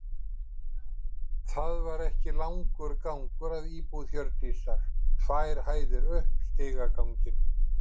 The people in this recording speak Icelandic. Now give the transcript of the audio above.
Það var ekki langur gangur að íbúð Hjördísar, tvær hæðir upp stigaganginn.